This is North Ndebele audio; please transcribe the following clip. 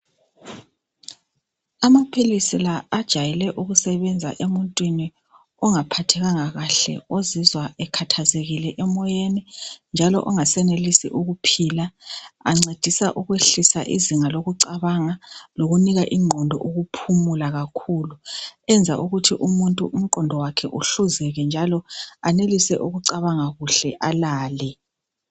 Amaphilisi la ajayele kusebenza emuntwini ongaphathekanga kahle ozizwa ekhathazekile emoyeni njalo ongasenelisi ukuphila. Ancedisa ukwehlisa izinga lokucabanga lokuphumula lokuncedisa ingqondo ukucabanga enza umuntu ukuthi umqondo wakhe uhluzeke njalo enelise ukucabanga alale.